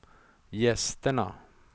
gästerna